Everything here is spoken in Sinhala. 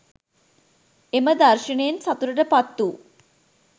එම දර්ශනයෙන් සතුටට පත්වූ